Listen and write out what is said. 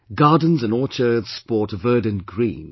Gardens and orchards sport a verdant green